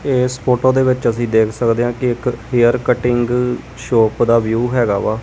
ਏਸ ਫ਼ੋਟੋ ਦੇ ਵਿੱਚ ਅਸੀ ਦੇਖ ਸਕਦੇ ਆਂ ਕਿ ਇੱਕ ਹੇਅਰ ਕਟਿੰਗ ਸ਼ੌਪ ਦਾ ਵਿਊ ਹੈਗਾ ਵਾ।